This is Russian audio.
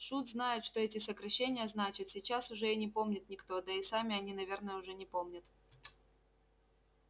шут знает что эти сокращения значат сейчас уже и не помнит никто да и сами они наверное уже не помнят